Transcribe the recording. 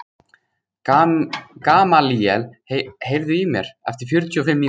Gamalíel, heyrðu í mér eftir fjörutíu og fimm mínútur.